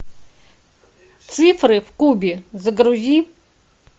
цифры в кубе загрузи